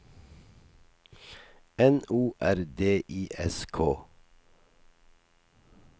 N O R D I S K